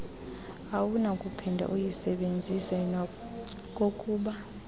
awunakuphinde uyisebenzise nokokuba